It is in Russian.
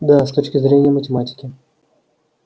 да с точки зрения математики